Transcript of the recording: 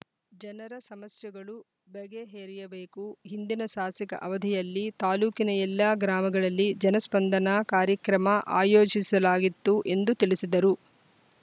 ಜನರ ಸಮಸ್ಯೆಗಳು ಬಗೆಹೆರಿಯಬೇಕು ಹಿಂದಿನ ಸಾ ಸಕ ಅವಧಿಯಲ್ಲಿ ತಾಲೂಕಿನ ಎಲ್ಲ ಗ್ರಾಮಗಳಲ್ಲಿ ಜನಸ್ಪಂದನಾ ಕಾರ್ಯಕ್ರಮ ಆಯೋಜಿಸಲಾಗಿತ್ತು ಎಂದು ತಿಳಿಸಿದರು